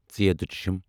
ژھ